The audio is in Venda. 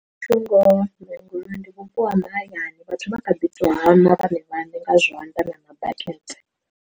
Muthu ngoho ndi vhupo ha mahayani vhathu vha kha ḓi tou hana vhanevha vhane nga zwanḓa na ma bakete.